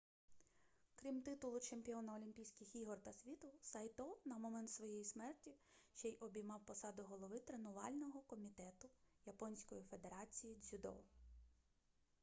крім титулу чемпіона олімпійських ігор та світу сайто на момент своєї смерті ще й обіймав посаду голови тренувального комітету японської федерації дзюдо